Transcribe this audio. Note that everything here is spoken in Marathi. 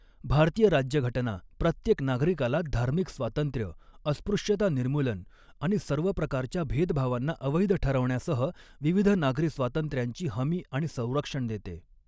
भारतीय राज्यघटना प्रत्येक नागरिकाला धार्मिक स्वातंत्र्य, अस्पृश्यता निर्मूलन आणि सर्व प्रकारच्या भेदभावांना अवैध ठरवण्यासह विविध नागरी स्वातंत्र्यांची हमी आणि संरक्षण देते.